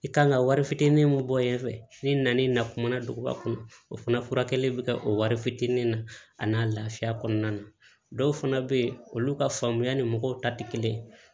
I kan ka wari fitinin min bɔ yen ni na ni na kumana duguba kɔnɔ o fana furakɛli bɛ kɛ o wari fitinin na a n'a lafiya kɔnɔna na dɔw fana bɛ yen olu ka faamuya ni mɔgɔw ta tɛ kelen ye